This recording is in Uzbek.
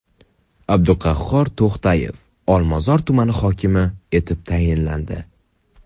Abduqahhor To‘xtayev Olmazor tumani hokimi etib tayinlandi.